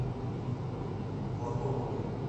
платоновой